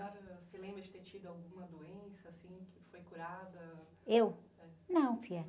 A senhora se lembra de ter tido alguma doença, assim, que foi curada?u?É.ão, filha.